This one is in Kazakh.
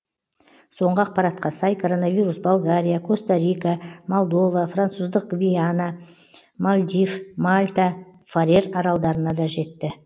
соңғы ақпаратқа сай коронавирус болгария коста рика молдова француздық гвиана мальдив мальта фарер аралдарына да жетті